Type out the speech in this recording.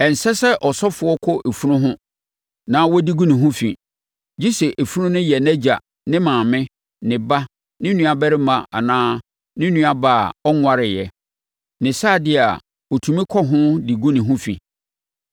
“ ‘Ɛnsɛ sɛ ɔsɔfoɔ kɔ funu ho na ɔde gu ne ho fi; gye sɛ funu no yɛ nʼagya, ne maame, ne ba, ne nuabarima anaa ne nuabaa a ɔnwareeɛ; ne saa deɛ a, ɔtumi kɔ ho de gu ne ho fi.